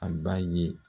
A b'a ye